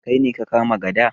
Kai ne ka kama gada?